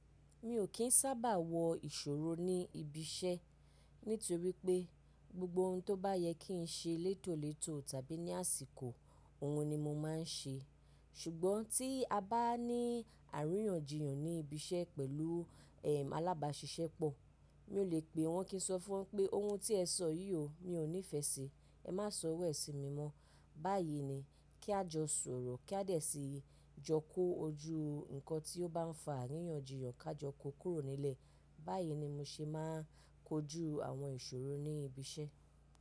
Mi ò kín sábà wọ ìṣòro ní ibi iṣẹ́ nítorí pé gbogbo ohun tó bá yẹ kí n ṣe létòletò tàbí ní àsìkò ohun ni mo máa ń ṣe. Ṣùgbọ́n tí a bá ní àríyànjiyàn ní ibi iṣẹ́ pẹ̀lú, ehn, alábàáṣiṣẹ́ pọ̀, mi ò lè pe wọn kí n sọ fún wọn pé ohun tí ẹ sọ yìí o, mi ò nífẹẹ síi, ẹ má sọ irú ẹ̀ sí mi mọ́. Báyìí ni kí a jọ sọ̀rọ̀, kí a dẹ̀ síi, jọ kó ojú nnkan tí ó bá ń fa àríyànjiyàn ká jọ kó kúrò nílẹ̀. Báyìí ni mo ṣe máa ń kojú àwọn ìṣòro ní ibi iṣẹ́.